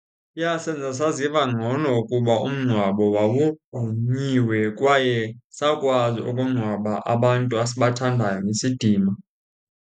Yasenza saziva ngcono ukuba umngcwabo wawugqunyiwe kwaye sakwazi ukungcwaba abantu asibathandayo ngesidima.